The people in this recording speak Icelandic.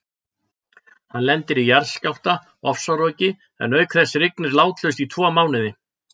Hann lendir í jarðskjálfta, ofsaroki en auk þess rignir látlaust í tvo mánuði.